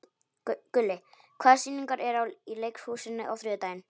Gulli, hvaða sýningar eru í leikhúsinu á þriðjudaginn?